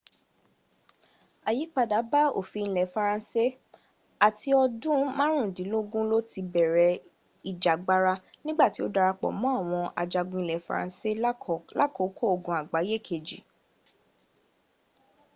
àyípadà bá òfin ilẹ faransé à ti ọdún márùndínlógún ló ti bẹ̀rẹ̀ ìjàgbara nígbà tí ó darápọ̀ mọ́ àwọn ajagun ilẹ̀ faransé lákòókò ogun àgbáyé kejì